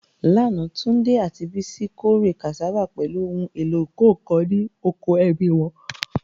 Lánàá, Tunde àti Bisi kórè cassava pẹ̀lú ohun èlò ìkọ́ nǹkan ní oko ẹbí wọn.